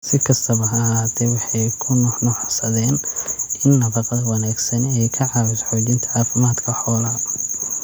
Si kastaba ha ahaatee, waxay ku nuuxnuuxsadeen in nafaqada wanaagsani ay ka caawiso xoojinta caafimaadka xoolaha.